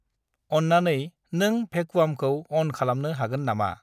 अननानै नोंं भेकुवामखौ अन खालामनो हागोन नामा?